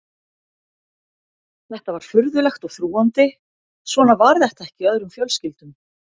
Þetta var furðulegt og þrúgandi, svona var þetta ekki í öðrum fjölskyldum.